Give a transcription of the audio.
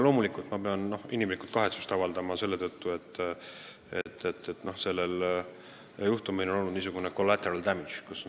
Loomulikult ma pean kahetsust avaldama selle tõttu, et sellel juhtumil on olnud niisugune collateral damage.